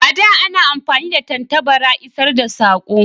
A da a na amfani da tattabara isar da sako